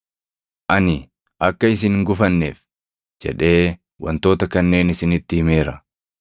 “Ani akka isin hin gufanneef jedhee wantoota kanneen isinitti himeera.